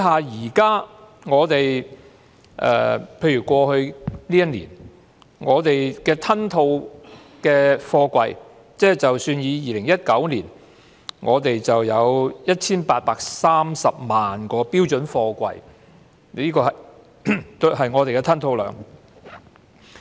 有關過去一年香港的貨櫃吞吐量，以2019年為例，我們有 1,830 萬個標準貨櫃的吞吐量。